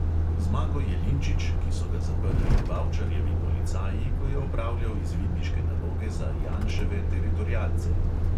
Zmago jelinčič, ki so ga zaprli bavčarjevi policaji, ko je opravljal izvidniške naloge za janševe teritorialce.